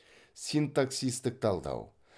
синтаксистік талдау